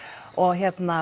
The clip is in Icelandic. og